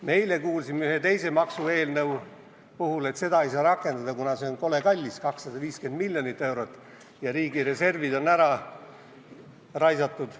Me eile kuulsime üht teist maksueelnõu arutades, et seda ei saa rakendada, kuna see on kole kallis, 250 miljonit eurot, ja riigireservid on ära raisatud.